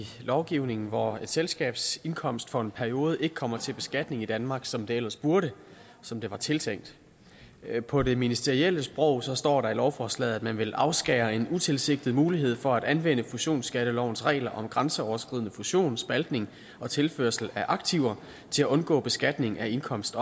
lovgivningen hvor et selskabs indkomst for en periode ikke kommer til beskatning i danmark som det ellers burde og som det var tiltænkt på det ministerielle sprog står der i lovforslaget at man vil afskære en utilsigtet mulighed for at anvende fusionsskattelovens regler om grænseoverskridende fusion spaltning og tilførsel af aktiver til at undgå beskatning af indkomst